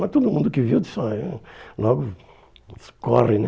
Mas todo mundo que viu, disse olhe, hum logo, disse corre, né?